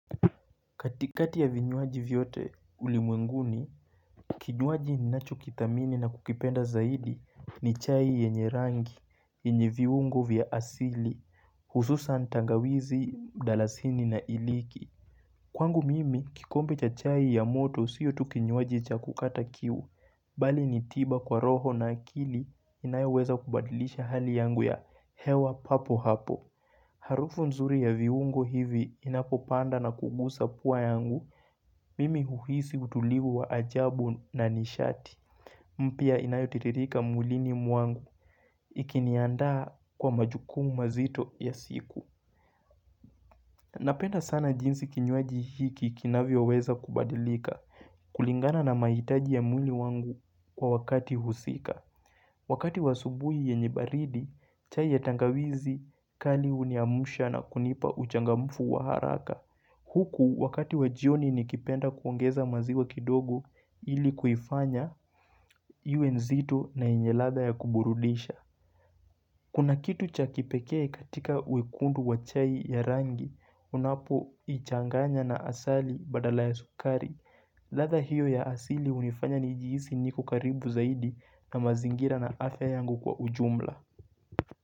Katikati ya vinywaji vyote ulimwenguni, kinywaji inacho kidhamini na kukipenda zaidi ni chai yenye rangi, inye viungo vya asili, hususa tangawizi, dalasini na iliki. Kwangu mimi, kikombe cha chai ya moto siyo tu kinywaji cha kukata kiwu, bali ni tiba kwa roho na akili inayeweza kubadilisha hali yangu ya hewa papo hapo. Harufu nzuri ya viungo hivi inapopanda na kugusa pua yangu, mimi huhisi utulivu wa ajabu nanishati. Mpya inayotitirika mwilini mwangu ikiniandaa kwa majukumu mazito ya siku. Napenda sana jinsi kinywaji hiki kinavyoweza kubadilika kulingana na maitaji ya mwili wangu kwa wakati husika. Wakati wa subuhi yenye baridi, chai ya tangawizi kali uniamsha na kunipa uchangamufu wa haraka. Huku wakati wa jioni nikipenda kuongeza maziwa kidogo ili kuifanya iwe nzito na enye ladha ya kuburudisha. Kuna kitu cha kipekee katika wekundu wa chai ya rangi, unapoichanganya na asali badala ya sukari. Ladha hiyo ya asili unifanya ni jihisi niko karibu zaidi na mazingira na afya yangu kwa ujumla.